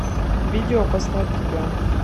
видео послать тебя